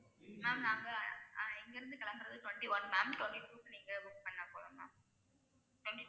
Ma'am நாங்க அஹ் இங்க இருந்து களம்புறதுக்கு twenty one ma'am twenty two க்கு நீங்க book பண்ணா போதும் ma'am twenty